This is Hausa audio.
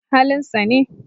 Halin sa ne